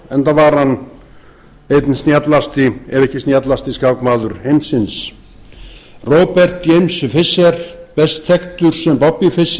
enda var hann einn snjallasti ef ekki snjallasti skákmaður heimsins robert james fischer best þekktur sem bobby